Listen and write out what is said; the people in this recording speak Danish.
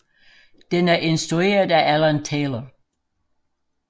Den er instrueret af Alan Taylor